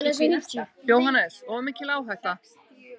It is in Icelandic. JÓHANNES: Of mikil áhætta.